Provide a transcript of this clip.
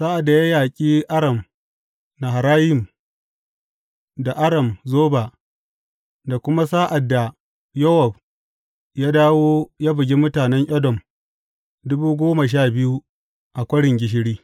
Sa’ad da ya yaƙi Aram Naharayim da Aram Zoba, da kuma sa’ad da Yowab ya dawo ya bugi mutanen Edom dubu goma sha biyu a Kwarin Gishiri.